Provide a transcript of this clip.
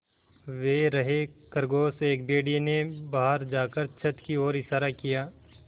वे रहे खरगोश एक भेड़िए ने बाहर जाकर छत की ओर इशारा किया